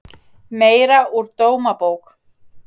Meira úr Dómabók